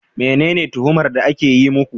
Menene tuhumar da ake yi muku